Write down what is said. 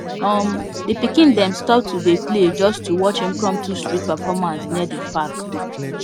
um the pikin them stop to dey play just to watch impromptu street performance near the park